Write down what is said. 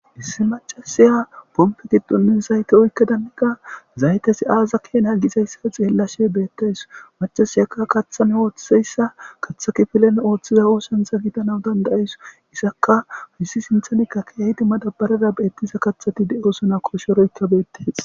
Issi mac'asiya pompa gidonka zayte oykada zaytezi aazape hanizee gizaysa xeelaws mac'asiya katha kifilen oothiza oothancha gidanaw danda'aws izaka izi sinthani madabarara kumi uttida kathay dees koshiroyja dees.